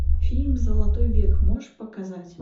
фильм золотой век можешь показать